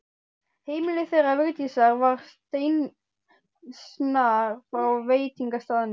Heimili þeirra Vigdísar var steinsnar frá veitingastaðnum.